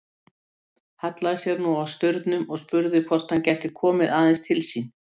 Hallaði sér nú að staurnum og spurði hvort hann gæti komið aðeins til sín.